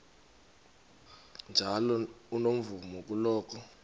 njalo unomvume kuloko